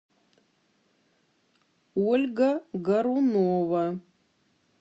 ольга гарунова